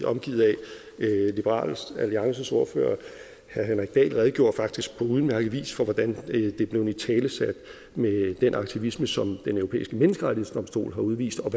omgivet af liberal alliances ordfører herre henrik dahl redegjorde faktisk på udmærket vis for hvordan det er blevet italesat med den aktivisme som den europæiske menneskerettighedsdomstol har udvist og